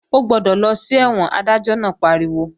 Ó gbọ́dọ̀ lọ sí ẹ̀wọ̀n! Adájọ́ náà pariwo